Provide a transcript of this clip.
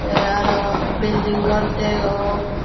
tey arow bilding gor degong.